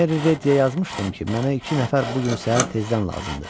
Meriyə yazmışdım ki, mənə iki nəfər bu gün səhər tezdən lazımdır.